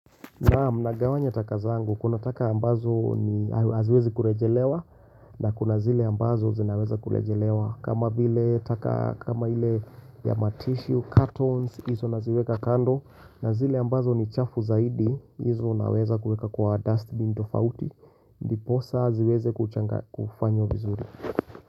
Na mnagawanya taka zangu kuna taka ambazo ni haziwezi kurejelewa na kuna zile ambazo zinaweza kurejelewa kama vile taka kama ile ya matissue, cartons hizo naziweka kando na zile ambazo ni chafu zaidi hizo naweza kuweka kwa dustbin tofauti ndiposa ziweze kufanywa vizuri.